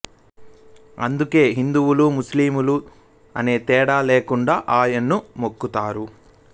అందుకే హిందువులూ ముస్లిములు అనే తేడా లేకుండా ఆయన్ను మొక్కుతారు